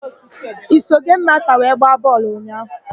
I so gemu masta wee gbaa bọọlụ ụnyaahụ?